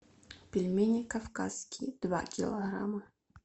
пельмени кавказские два килограмма